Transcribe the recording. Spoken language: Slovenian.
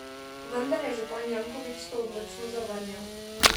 Vendar je župan Janković to odločno zavrnil.